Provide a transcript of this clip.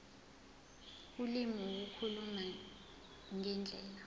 ulimi ukukhuluma ngendlela